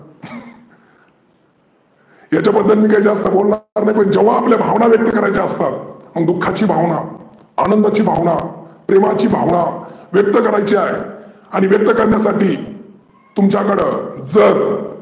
याच्या बद्दल मी काही जास्त बोलनार नाही. पण जेव्हा आपल्या भावना व्यक्त करायच्या असतात, मग दुखा ची भावना आनंदाची भावना, प्रेमाची भावना, व्यक्त करायची आहे, आणि व्यक्त करण्यासाठी तुमच्याकड जर